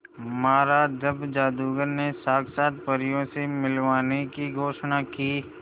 महाराज जब जादूगर ने साक्षात परियों से मिलवाने की घोषणा की